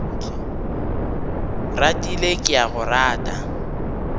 ratile ke a go rata